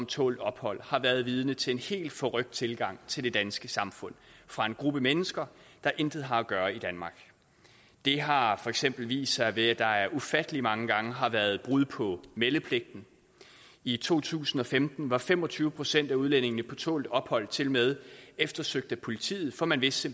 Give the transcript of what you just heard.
tålt ophold har været vidne til en helt forrykt tilgang til det danske samfund fra en gruppe mennesker der intet har at gøre i danmark det har for eksempel vist sig ved at der ufattelig mange gange har været brud på meldepligten i to tusind og femten var fem og tyve procent af udlændingene på tålt ophold tilmed eftersøgt af politiet for man vidste